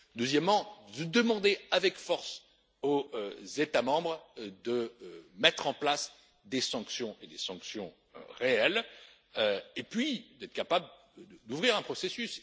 Deuxièmement, demander avec force au États membres de mettre en place des sanctions, et des sanctions réelles, et puis être capable d'ouvrir un processus.